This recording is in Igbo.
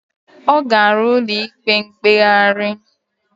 Ọ gara ụlọ ikpe mkpegharị.